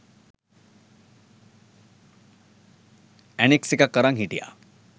Annex එකක් අරන් හිටියා.